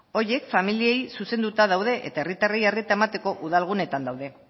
horiek familiei zuzenduta daude eta herritarrei arreta emateko udal guneetan daude